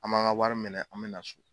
An m'an ga wari minɛ an me na so